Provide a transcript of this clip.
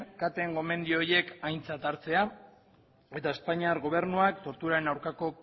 caten gomendio horiek aintzat hartzea eta espainiar gobernuak torturaren aurkako